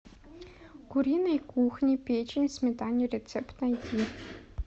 куриной кухни печень в сметане рецепт найди